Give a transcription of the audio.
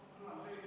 Miks seda välditi?